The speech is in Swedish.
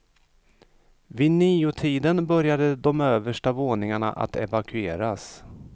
Vid niotiden började de översta våningarna att evakueras.